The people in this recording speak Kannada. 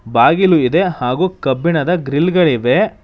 ಬಾಗಿಲು ಇದೆ ಹಾಗು ಕಬ್ಬಿಣದ ಗ್ರಿಲ್ ಗಳಿವೆ.